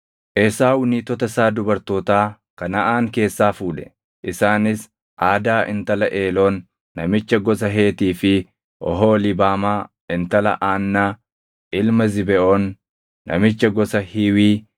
Esaaw niitota isaa dubartootaa Kanaʼaan keessaa fuudhe; isaanis Aadaa intala Eeloon namicha gosa Heetii fi Oholiibaamaa intala Aannaa ilma Zibeʼoon namicha gosa Hiiwii,